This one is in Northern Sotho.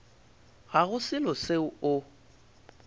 ga go selo seo o